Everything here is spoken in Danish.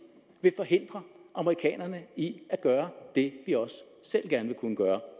vil forhindre amerikanerne i at gøre det vi også selv gerne vil kunne gøre